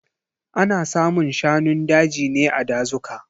Ana samun shanun daji ne a dazuka.